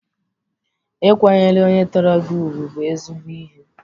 Ịkwanyere onye tọrọ gị ugwu bụ ezigbo ihe.